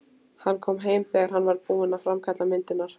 Hann kom heim þegar hann var búinn að framkalla myndirnar.